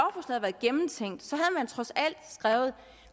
trods alt skrevet at